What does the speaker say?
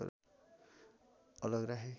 अलग राखे